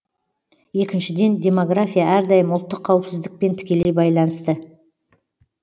екіншіден демография әрдайым ұлттық қауіпсіздікпен тікелей байланысты